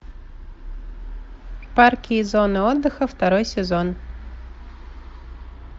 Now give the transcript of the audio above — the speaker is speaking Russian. парки и зоны отдыха второй сезон